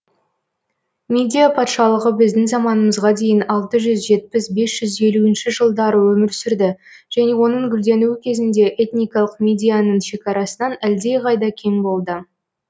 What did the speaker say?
мидия патшалығы біздің заманымызға дейін алты жүз жетпіс бес жүз елу жылдары өмір сүрді және оның гүлденуі кезінде этникалық мидияның шекарасынан әлдеқайда кең болды